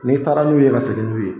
N'i taara n'u ye ka segin n'u ye